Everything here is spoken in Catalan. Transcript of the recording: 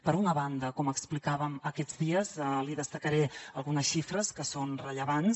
per una banda com explicàvem aquests dies li destacaré algunes xifres que són rellevants